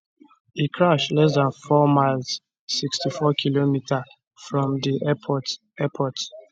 e crash less dan four miles 64km from di airport airport